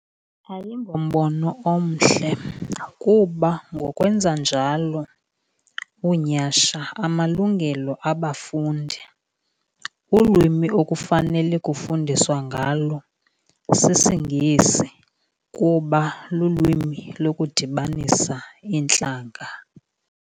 Ayingombono omhle kuba ngokwenza njalo unyhasha amalungelo abafundi. Ulwimi ekufanele kufundiswa ngalo sisiNgesi kuba lulwimi lokudibanisa iintlanga.